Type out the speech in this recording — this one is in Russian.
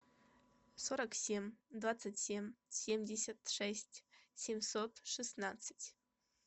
сорок семь двадцать семь семьдесят шесть семьсот шестнадцать